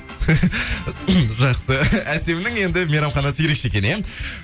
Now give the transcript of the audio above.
жақсы әсемнің енді мейрамханасы ерекше екен иә